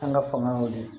An ka fanga y'o de ye